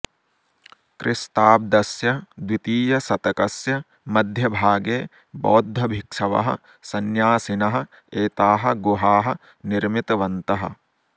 क्रिस्ताब्दस्य द्वितीयशतकस्य मध्यभागे बौद्धभिक्षवः सन्यासिनः एताः गुहाः निर्मितवन्तः